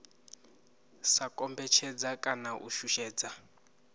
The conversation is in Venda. sa kombetshedza kana u shushedza